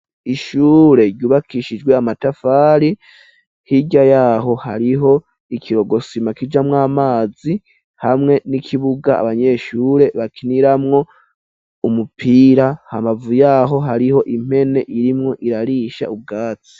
Ishure ryubakishijwe amatafari, hirya yaho hariho ikirogosima kijamwo amazi hamwe n'ikibuga abanyeshure bakiniramwo umupira, hambavu yaho hariho impene irimwo irarisha ubwatsi.